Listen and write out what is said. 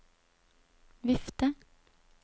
vifte